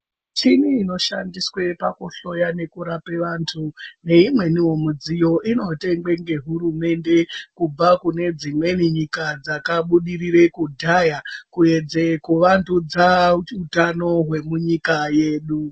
Michini inoshandiswe pakuhloya nekurape vantu neimweniwo midziyo inotengwe ngehurumende kubva kune dzimweni nyika dzakabudirira kudhaya kuedze kuvandudza utano hwemunyika mwedu.